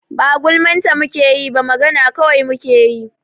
Ba gulman ta mu ke yi ba, magana kawai mu kai yi.